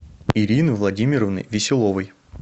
ирины владимировны веселовой